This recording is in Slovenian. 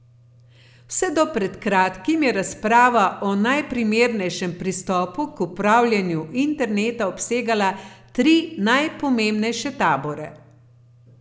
Vse do pred kratkim je razprava o najprimernejšem pristopu k upravljanju interneta obsegala tri najpomembnejše tabore.